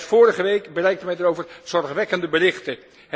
En juist vorige week bereikten mij daarover zorgwekkende berichten.